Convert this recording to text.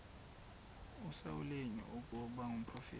usamuweli ukuba ngumprofeti